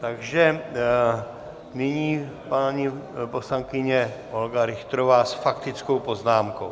Takže nyní paní poslankyně Olga Richterová s faktickou poznámkou.